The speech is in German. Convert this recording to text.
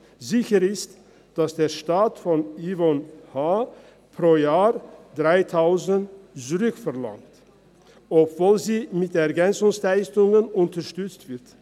Sicher ist, dass der Staat von Yvonne H. pro Jahr 3000 Franken zurückverlangt, obwohl sie mit EL unterstützt wird.